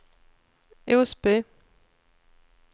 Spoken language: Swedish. Osby